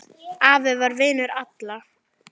Afi var vinur allra.